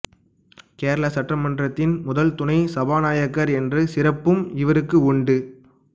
கேரள சட்டமன்றத்தின் முதல் துணை சபாநாயகர் என்ற சிறப்பும் இவருக்கு உண்டு